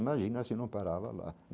Imagina se não parava lá.